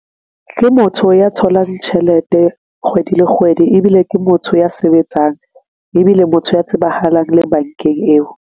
Ke motho ya tholang tjhelete kgwedi le kgwedi, ebile ke motho ya sebetsang ebile motho ya tsebahalang le bankeng eo.